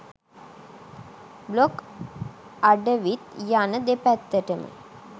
blog අඩවිත් යන දෙපැත්තටම